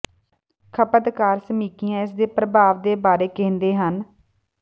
ਖਪਤਕਾਰ ਸਮੀਖਿਆ ਇਸ ਦੇ ਪ੍ਰਭਾਵ ਦੇ ਬਾਰੇ ਕਹਿੰਦੇ ਹਨ